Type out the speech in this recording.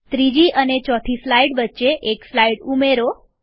ત્રીજી અને ચોથી સ્લાઈડ વચ્ચે એક સ્લાઈડ ઉમેરો